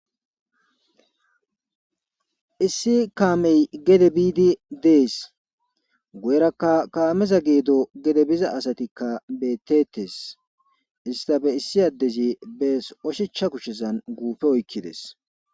issi kaamey gede biidi dees. guyerakka kaameza geedo gedo biza asatikka bettettes istappe issi addezi bees ushacha kushshesan guufe oykkides